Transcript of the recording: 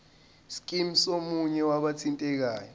scheme somunye wabathintekayo